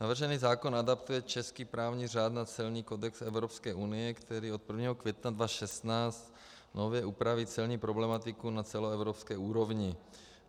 Navržený zákon adaptuje český právní řád na celní kodex Evropské unie, který od 1. května 2016 nově upraví celní problematiku na celoevropské úrovni.